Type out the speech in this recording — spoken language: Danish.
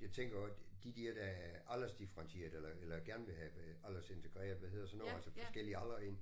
Jeg tænker også de der der er aldersdifferentieret eller eller gerne vil have aldersintegreret hvad hedder sådan noget altså forskellige aldre ind